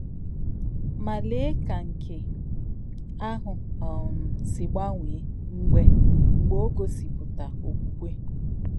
Mà, lèè kà nké àhụ̀ um sì gbanwè́ mgbe mgbe ò gòsìpùtà òkwùkwè!